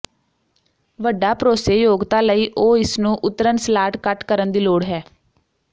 ਵੱਡਾ ਭਰੋਸੇਯੋਗਤਾ ਲਈ ਉਹ ਇਸ ਨੂੰ ਉਤਰਨ ਸਲਾਟ ਕੱਟ ਕਰਨ ਦੀ ਲੋੜ ਹੈ